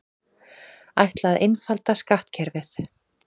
Ætla að einfalda skattkerfið